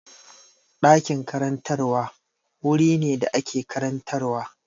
Ɗakin karantarwa wuri ne da ake karantarwa.